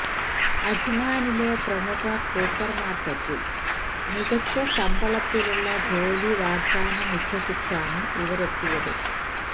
അജ്മാനിലെ പ്രമുഖ സൂപ്പര് മാര്ക്കറ്റില് മികച്ച ശമ്പളത്തിലുള്ള ജോലി വാഗ്ദാനം വിശ്വസിച്ചാണ് ഇവരെത്തിയത്